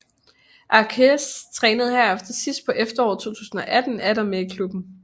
Akharraz trænede herefter sidst på efteråret 2018 atter med i klubben